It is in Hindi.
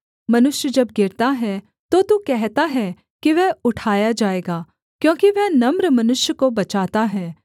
मनुष्य जब गिरता है तो तू कहता है की वह उठाया जाएगा क्योंकि वह नम्र मनुष्य को बचाता है